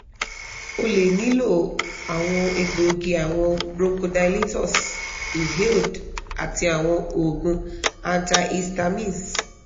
o le nilo awọn egboogi awọn bronchodilators inhaled ati awọn oogun antihistamines